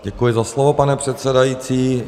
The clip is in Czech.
Děkuji za slovo, pane předsedající.